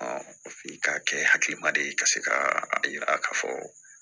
f'i k ka kɛ hakilima de ye ka se ka a yira ka fɔ